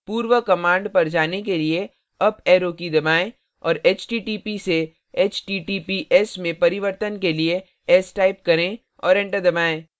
पूर्व command पर जाने लिए अप arrow दबाएं और http से https में परिवर्तन के लिए s type करें और enter दबाएँ